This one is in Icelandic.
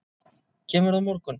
Kemurðu á morgun?